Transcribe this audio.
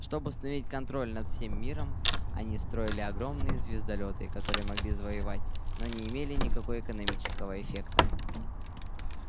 чтобы установить контроль над всем миром они строили огромные звездолёты которые могли завоёвывать но не имели никакой экономического эффекта